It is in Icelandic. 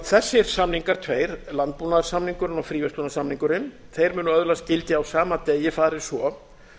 þessir samningar tveir landbúnaðarsamningurinn og fríverslunarsamningurinn munu öðlast gildi á sama degi fari svo